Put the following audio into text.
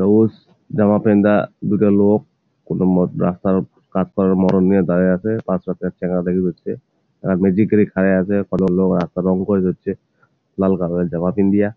সবুজ জামা পিন্দা দুইটা লোক কোন মত রাস্তার উপ কাকতারুর মরণ নিয়া দাঁড়াইয়া আছে। পাশও একটা চেংড়া দেখি যাচ্ছে জিকরি খাইয়া আছে। কোন লোক আতরঙ কয়ে যাচ্ছে লাল কালার এর জামা পিন্দিয়া।